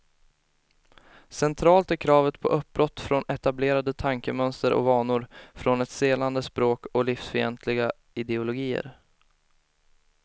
Centralt är kravet på uppbrott från etablerade tankemönster och vanor, från ett stelnande språk och livsfientliga ideologier.